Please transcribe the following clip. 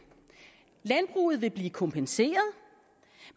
landbruget vil blive kompenseret